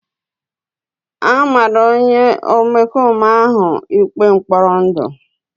A mara onye omekome ahụ ikpe mkpọrọ ndụ.